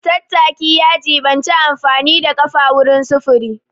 Tattaki ya jiɓanci amfani da ƙafa wurin sufuri.